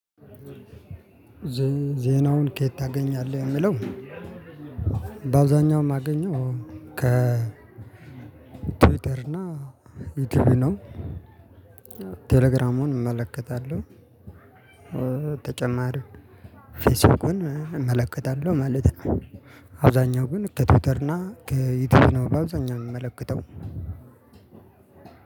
ዜናውን ከየት ታገኛለህ የሚለው? በአውዛኛውም ማገኘው ከቲዊተር እና ዩቲዩብ ነው። ቴሌግራሙን እመለከታለሁ። ተጨማሪ ፌስቡክን እመለከታለሁ ማለት ነው። አብዛኛው ግን ከቲውተርና ከዩቲዩብ ነው። በአብዛኛው የምመለከተው።